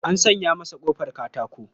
An sanya masa ƙofar katato.